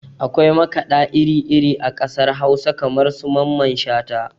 Akwai makaɗa iri iri a ƙasar hausa kamar su mamman shata